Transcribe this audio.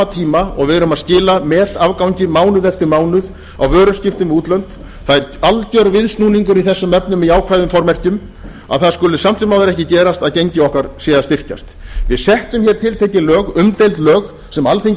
tíma og við erum að skila metafgangi mánuð eftir mánuð á vöruskiptum við útlönd það er alger viðsnúningur í þessum efnum í jákvæðum formerkjum að það skuli samt sem áður ekki gerast að gengi okkar sé að styrkjast við settum tiltekin lög umdeild lög sem alþingi